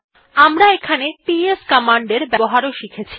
আমরা এখানে PS command er ব্যবহারও শিখেছি